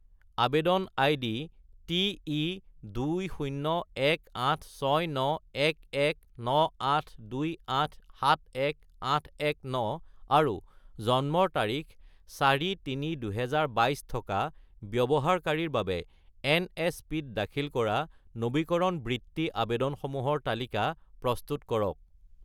আৱেদন ID TE20186911982871819 আৰু জন্মৰ তাৰিখ 4-3-2022 থকা ব্যৱহাৰকাৰীৰ বাবে এনএছপি-ত দাখিল কৰা নবীকৰণ বৃত্তি আবেদনসমূহৰ তালিকা প্ৰস্তুত কৰক